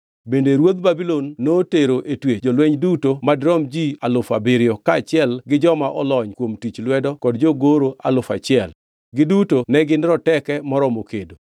Bende ruodh Babulon notero e twech jolweny duto madirom ji alufu abiriyo, kaachiel gi joma olony kuom tich lwedo kod jogoro alufu achiel; giduto ne gin roteke moromo kedo.